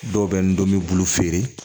Dɔw bɛ n dɔn n bɛ bulu feere